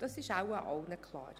Das ist wohl allen klar.